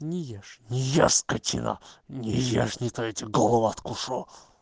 не ешь не ешь скотина не я ешь не то я тебе голову откушу